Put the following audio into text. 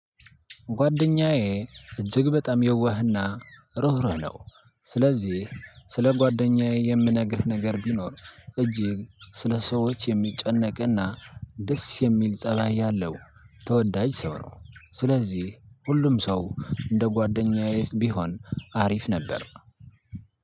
ጓደኛዬ እጅግ በጣም የዋህና ሩህሩህ ነው። ስለዚህ ስለ ጓደኛዬ የምነግርህ ነገር ቢኖር። እጅግ ስለ ሰዎች የሚጨነቅና ደስ የሚል ፀባይ ያለው ተወዳጅ ሲሆን። ስለዚህ ሁሉም ሰው እንደ ጓደኛዬ ቢሆን አሪፍ ነበር።